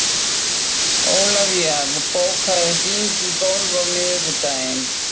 Ólivía, bókaðu hring í golf á miðvikudaginn.